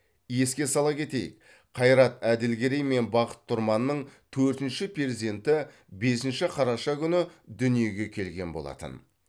еске сала кетейік қайрат әділгерей мен бақыт тұрманның төртінші перзенті бесінші қараша күні дүниеге келген болатын